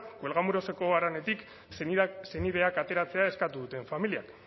cuelgamuroseko haranetik senideak ateratzea eskatu duten familiak